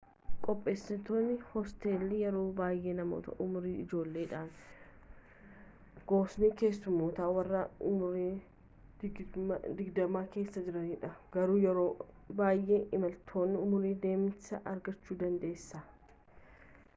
qopheessitoonni hoosteelii yeroo baayyee namoota umuriin ijoolleedha gosoni keessummootaa warren umuriin digdamman kessaa jiranidha garuu yeroo bayyee imaltoota umurniin deemanis argachuu dandeessa